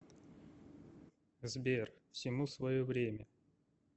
сбер всему свое время